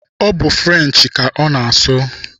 Ọ bụ french ka ọ na-asụ.